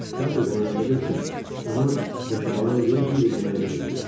Teatrda oynadığı üçün ona yaşamağa yer, bir də yemək verəcək.